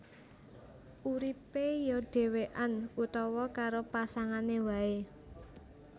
Uripé ya dhèwèkan utawa karo pasangané waé